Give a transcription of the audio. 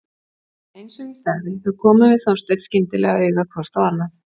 En eins og ég sagði þá komum við Þorsteinn skyndilega auga hvort á annað.